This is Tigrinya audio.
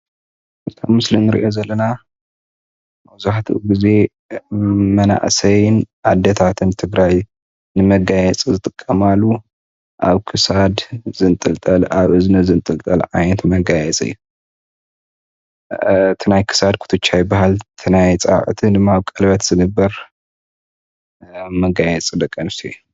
እቲ ኣብ ምስሊ እንሪኦ ዘለና መብዛሕትኡ ግዜ ብመናእሰይን ኣዴታት ትግራይ ንመጋየፂ ዝጥቀማሉ ኣብ ክሳድ ዝንጥልጠል፣ ኣብ እዝኒ ዝንጥልጠል ዓይነት መጋየፂ እዩ፡፡ ናይ ክሳድ ኩትቻ ይባሃል እቲ ናይ ኣፃብዕቲ ድማ ኣብ ቀለበት ዝግበር መጋየፂ ደቂ ኣነስትዮ እዩ፡፡